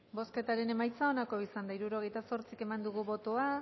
bozketaren emaitza onako izan da hirurogeita hamaika eman dugu bozka